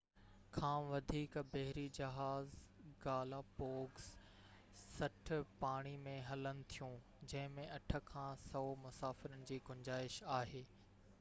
60 کان وڌيڪ بحري جهاز گالاپوگس پاڻي ۾ هلن ٿيون جنهن ۾ 8 کان 100 مسافرن جي گنجائش آهي